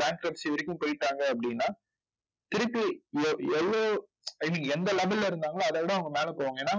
bankruptcy வரைக்கும் போயிட்டாங்க அப்படின்னா திருப்பி எவ் எவ்வளவு I mean எந்த level ல இருந்தாங்களோ அதைவிட அவங்க மேல போவாங்க. ஏன்னா